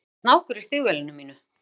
Það er snákur í stígvélinu mínu?